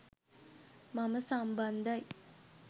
මම සම්බන්ධයි.